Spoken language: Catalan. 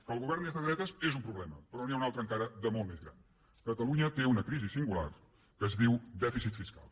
que el govern és de dretes és un problema però n’hi ha un altre encara de molt més gran catalunya té una crisi singular que es diu dèficit fiscal